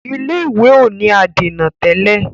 ilé ìwé o ní adèna tẹlẹ.